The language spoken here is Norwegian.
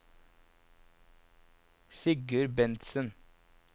Sigurd Bentsen